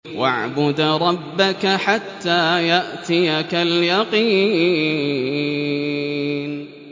وَاعْبُدْ رَبَّكَ حَتَّىٰ يَأْتِيَكَ الْيَقِينُ